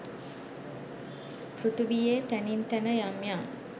පෘථිවියේ තැනින් තැන යම් යම්